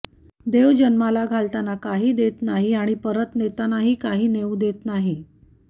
देव जन्माला घालताना काही देत नाही आणि परत नेतानाही काही नेवू देत नाही